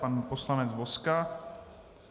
Pan poslanec Vozka?